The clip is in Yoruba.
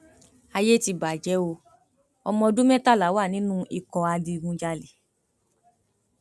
ayé ti bàjẹ o ọmọọdún mẹtàlá wà nínú ikọ adigunjalè